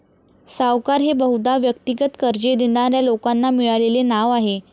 सावकार हे बहुदा व्यक्तिगत कर्जे देणाऱ्या लोकांना मिळालेले नाव आहे.